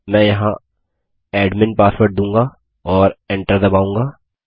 मैं यहाँ admin password दूंगा और Enter दबाऊँगा